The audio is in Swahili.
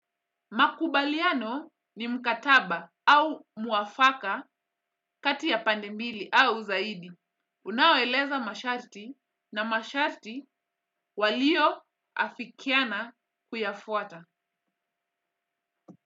Makubaliano ni mkataba au mwafaka kati ya pande mbili au zaidi. Unaoeleza masharti na masharti walio afikiana kuyafuata.